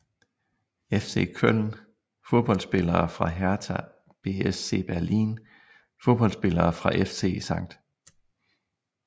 FC Köln Fodboldspillere fra Hertha BSC Berlin Fodboldspillere fra FC St